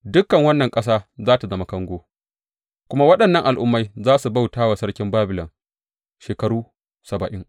Dukan wannan ƙasa za tă zama kango, kuma waɗannan al’ummai za su bauta wa sarkin Babilon shekaru saba’in.